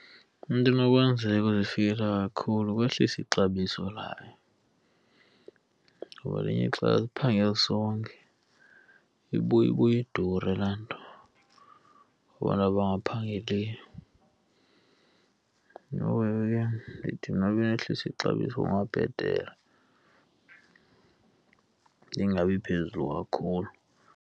Into enokwenzeka ukuze ifikeleleke kakhulu kwehlisa ixabiso layo ngoba ngelinye ixesha asiphangeli sonke. Ibuya, ibuye idure laa nto kubantu abangaphangeliyo. Ngoko ke ndithi mna behlise ixabiso kungabhetele, ingabi phezulu kakhulu.